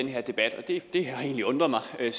er